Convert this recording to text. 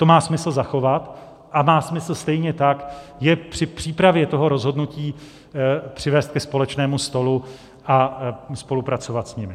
To má smysl zachovat a má smysl stejně tak je při přípravě toho rozhodnutí přivést ke společnému stolu a spolupracovat s nimi.